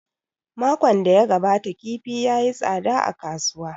Makon da ya gabata kifi ya yi tsada a kasuwa